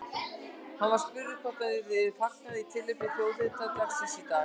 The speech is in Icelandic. Hann var spurður hvort það yrði fagnað í tilefni þjóðhátíðardagsins í dag.